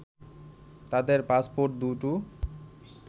তাদের পাসপোর্ট দু’টো